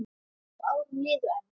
Og árin liðu enn.